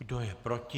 Kdo je proti?